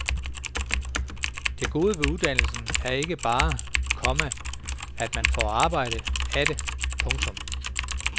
Det gode ved uddannelse er ikke bare, komma at man får arbejde af det. punktum